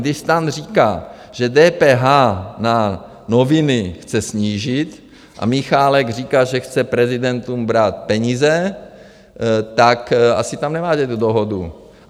Když STAN říká, že DPH na noviny chce snížit a Michálek říká, že chce prezidentům brát peníze, tak asi tam nemáte tu dohodu.